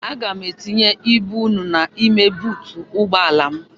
Aga m etinye ibu unu n'ime buutu ụgbọala m.